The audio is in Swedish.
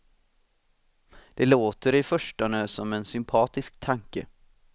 Det låter i förstone som en sympatisk tanke.